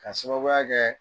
Ka sababuy kɛ